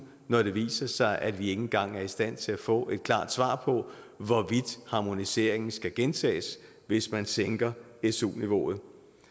når det viser sig at vi ikke engang er i stand til at få et klart svar på hvorvidt harmoniseringen skal gentages hvis man sænker su niveauet